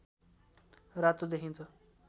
रातो देखिन्छ